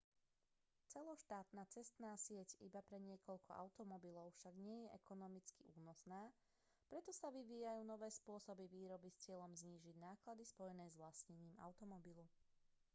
celoštátna cestná sieť iba pre niekoľko automobilov však nie je ekonomicky únosná preto sa vyvíjajú nové spôsoby výroby s cieľom znižiť náklady spojené s vlastnením automobilu